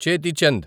చేతి చంద్